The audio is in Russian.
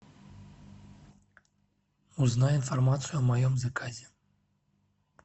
узнай информацию о моем заказе